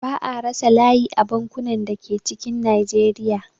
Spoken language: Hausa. Ba'a rasa layi a bankunan da ke cikin Najeriya